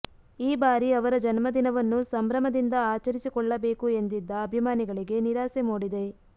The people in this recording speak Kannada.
ಈ ಬಾರಿ ಅವರ ಜನ್ಮದಿನವನ್ನು ಸಂಭ್ರಮದಿಂದ ಆಚರಿಸಿಕೊಳ್ಳಬೇಕು ಎಂದಿದ್ದ ಅಭಿಮಾನಿಗಳಿಗೆ ನಿರಾಸೆ ಮೂಡಿದೆ